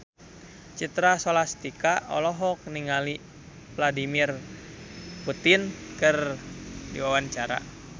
Citra Scholastika olohok ningali Vladimir Putin keur diwawancara